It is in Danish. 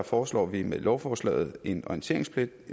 foreslår vi med lovforslaget en orienteringspligt